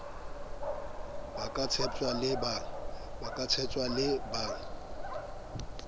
ba ka tshepjwang le ba